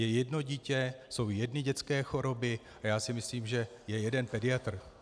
Je jedno dítě, jsou jedny dětské choroby a já si myslím, že je jeden pediatr.